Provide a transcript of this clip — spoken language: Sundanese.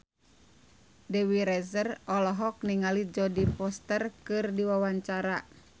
Dewi Rezer olohok ningali Jodie Foster keur diwawancara